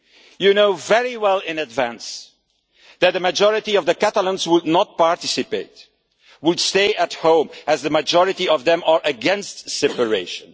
You knew very well in advance that a majority of Catalans would not participate and would stay at home, as the majority of them are against separation.